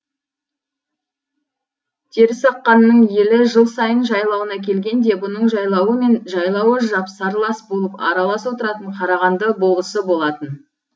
терісаққанның елі жыл сайын жайлауына келгенде бұның жайлауы мен жайлауы жапсарлас болып аралас отыратын қарағанды болысы болатын